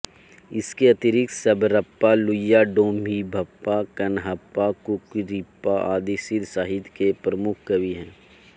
इसके अतिरिक्त शबरपा लुइपा डोम्भिपा कण्हपा कुक्कुरिपा आदि सिद्ध सहित्य के प्रमुख् कवि है